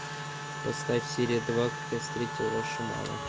поставь серия два как я встретил вашу маму